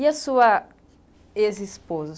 E a sua ex-esposa?